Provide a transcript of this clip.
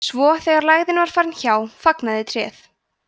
svo þegar lægðin var farin hjá fagnaði tréð